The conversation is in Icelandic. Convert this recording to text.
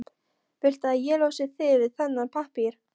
Viltu að ég losi þig við þennan pappír?